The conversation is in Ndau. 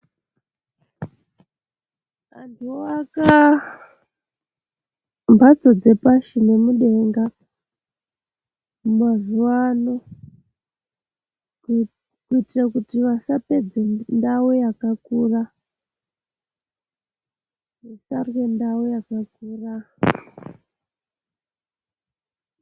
Anthu oaka mhatso dzepashi nemudenga mazuwaano kuitire kuti vasapedze ndau yakakura vasarye ndau yakakura.